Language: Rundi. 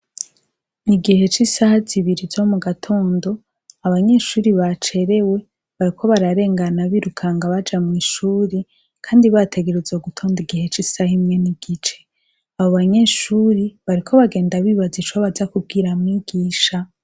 Igihe c'isaha zibiri zo mugatondo, abanyeshure bacerewe bariko bararengana birukanga baja mw'ishure, kandi bategerezwa gutonda igihe c'isaha imwe n'igice, abo banyeshuri bariko bagenda bibaza ico baza kubwira mwigisha.